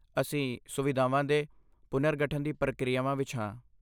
ਅਸੀਂ ਸੁਵਿਧਾਵਾਂ ਦੇ ਪੁਨਰਗਠਨ ਦੀ ਪ੍ਰਕਿਰਿਆ ਵਿੱਚ ਹਾਂ।